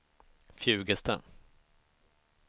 Fjugesta